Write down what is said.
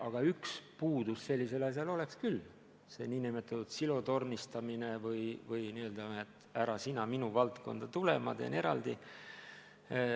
Aga üks puudus sellisel asjal oleks küll: see nn silotornistamine või mentaliteet, et ära sina minu valdkonda tule, ma teen eraldi.